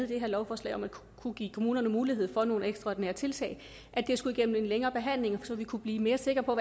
det her lovforslag om at kunne give kommunerne mulighed for nogle ekstraordinære tiltag skulle igennem en længere behandling så vi kunne blive mere sikre på